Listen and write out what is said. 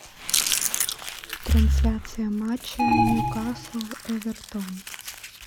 трансляция матча ньюкасл эвертон